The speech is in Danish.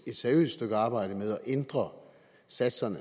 et seriøst stykke arbejde med at ændre satserne